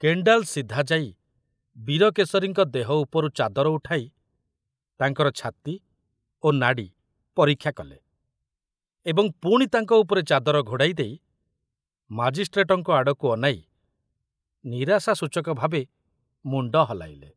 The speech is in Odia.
କେଣ୍ଡାଲ ସିଧା ଯାଇ ବୀରକେଶରୀଙ୍କ ଦେହ ଉପରୁ ଚାଦର ଉଠାଇ ତାଙ୍କର ଛାତି ଓ ନାଡ଼ି ପରୀକ୍ଷା କଲେ ଏବଂ ପୁଣି ତାଙ୍କ ଉପରେ ଚାଦର ଘୋଡ଼ାଇ ଦେଇ ମାଜିଷ୍ଟ୍ରେଟଙ୍କ ଆଡ଼କୁ ଅନାଇ ନିରାଶାସୂଚକ ଭାବେ ମୁଣ୍ଡ ହଲାଇଲେ।